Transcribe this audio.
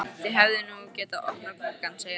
Þið hefðuð nú getað opnað gluggann, segir hann.